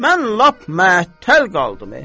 Mən lap məəttəl qaldım.